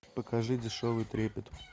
покажи дешевый трепет